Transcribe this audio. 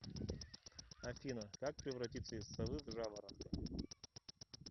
афина как превратиться из совы в жаворонка